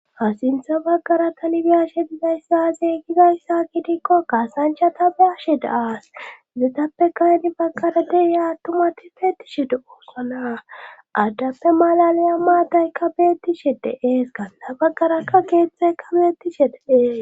ha sintha baggara tanibiyashe bizayssazey gizayssa kidikko kaasanchata baashe daaas zetappe kayanni baggara de iya attumati feeti shede oossona addappe malaliya maadaykka beetti shedeees kanna baggarakka geeththayka beetti she deees